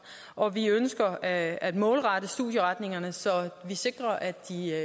og at vi ønsker at at målrette studieretningerne så vi sikrer at